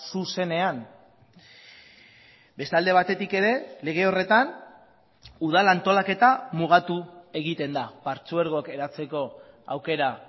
zuzenean beste alde batetik ere lege horretan udal antolaketa mugatu egiten da partzuergok eratzeko aukera